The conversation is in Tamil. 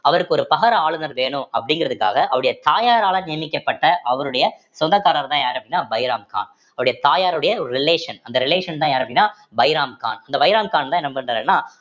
அவருக்கு ஒரு பகர ஆளுநர் வேணும் அப்படிங்கிறதுக்காக அவருடைய தாயாரால நியமிக்கப்பட்ட அவருடைய சொந்தக்காரர்தான் யாரு அப்படின்னா பைராம் கான் அவருடைய தாயாருடைய relation அந்த relation தான் யாரு அப்படின்னா பைராம்கான் இந்த பைராம்கான்தான் என்ன பண்றாருன்னா